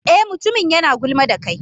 Eh, mutumin yana gulma da kai.